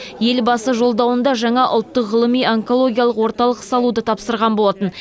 елбасы жолдауында жаңа ұлттық ғылыми онкологиялық орталық салуды тапсырған болатын